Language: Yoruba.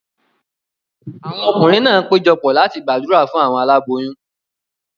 Awọn ọkunrin náà pejọ pọ̀ láti gbàdúrà fún awọn aláboyún